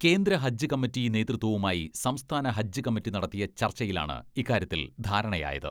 കേന്ദ്ര ഹജ്ജ് കമ്മറ്റി നേതൃത്വവുമായി സംസ്ഥാന ഹജ്ജ് കമ്മറ്റി നടത്തിയ ചർച്ചയിലാണ് ഇക്കാര്യത്തിൽ ധാരണയായത്.